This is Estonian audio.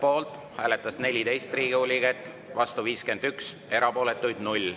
Poolt hääletas 14 Riigikogu liiget, vastu 51, erapooletuid oli 0.